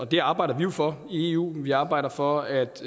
det arbejder vi jo for i eu vi arbejder for at